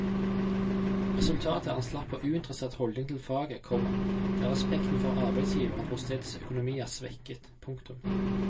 Resultatet er en slapp og uinteressert holdning til faget, komma der respekten for arbeidsgiveren og stedets økonomi er svekket. punktum